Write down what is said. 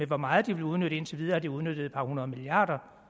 hvor meget de vil udnytte indtil videre har de udnyttet et par hundrede milliarder